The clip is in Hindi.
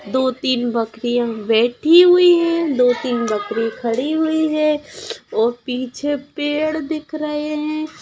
दो-तीन बकरियाँ बैठी हुई है दो-तीन बकरियाँ खड़ी हुई है और पीछे पेड़ दिख रहे है।